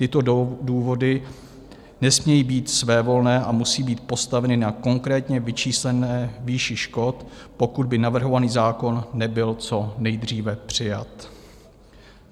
Tyto důvody nesmějí být svévolné a musí být postaveny na konkrétně vyčíslené výši škod, pokud by navrhovaný zákon nebyl co nejdříve přijat.